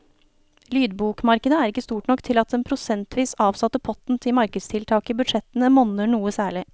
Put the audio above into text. Lydbokmarkedet er ikke stort nok til at den prosentvis avsatte potten til markedstiltak i budsjettene monner noe særlig.